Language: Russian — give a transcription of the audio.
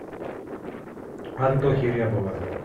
антохи рябова